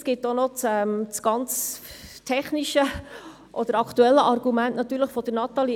Es gibt auch noch das ganz technische oder aktuelle Argument, das Natalie Imboden ausgeführt hat.